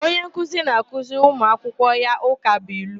Onye nkuzi na-akụziri ụmuakwụkwọ ya ụkabụilu.